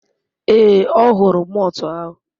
Ee, ọ hụrụ malt ahụ.